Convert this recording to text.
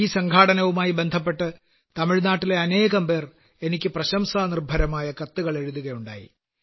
ഈ സംഘാടനവുമായി ബന്ധപ്പെട്ട് തമിഴ്നാട്ടിലെ അനേകംപേർ എനിക്ക് പ്രശംസാനിർഭരമായ കത്തുകളെഴുതുകയുണ്ടായി